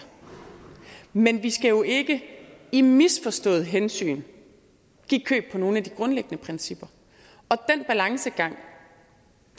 men vi skal jo ikke i misforstået hensyn give køb på nogen af de grundlæggende principper og den balancegang